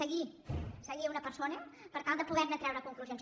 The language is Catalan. seguir una persona per tal de poderne treure conclusions